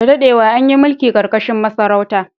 Da dadewa, an yi mulki ƙarƙashin masarauta.